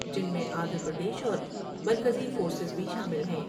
جن میں آندھرا پردیش اور مرکزی فورس بھی شامل ہیں ۔